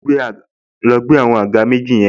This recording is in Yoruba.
Lọ gbé àwọn àga méjì yẹn